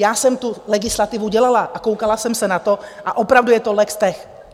Já jsem tu legislativu dělala a koukala jsem se na to a opravdu je to legtech.